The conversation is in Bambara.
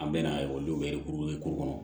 An bɛ na ekɔlidenw bɛɛ kuru ye k'o kɔnɔ